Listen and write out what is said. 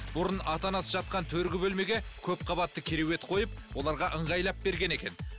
бұрын ата анасы жатқан төргі бөлмеге көпқабатты керуерт қойып оларға ыңғайлап берген екен